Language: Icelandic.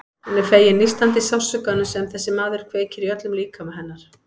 Hún er fegin nístandi sársaukanum sem þessi maður kveikir í öllum líkama hennar.